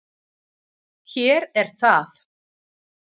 Hér er það.